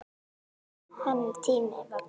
Hennar tími var kominn.